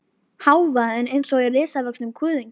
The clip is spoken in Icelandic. Hávaðinn eins og í risavöxnum kuðungi.